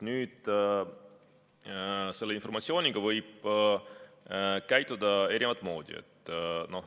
Nüüd, selle informatsiooniga võib käituda erinevat moodi.